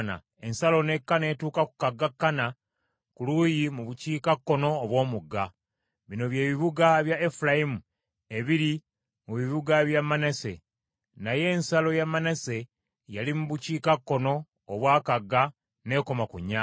Ensalo n’ekka n’etuuka ku kagga Kana ku luuyi mu bukiikakkono obw’omugga. Bino bye bibuga bya Efulayimu ebiri mu bibuga bya Manase, naye ensalo ya Manase yali mu bukiikakkono obwa kagga n’ekoma ku nnyanja.